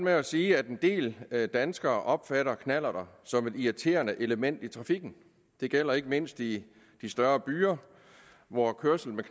at sige at en del danskere opfatter knallerter som et irriterende element i trafikken det gælder ikke mindst i de større byer hvor kørsel med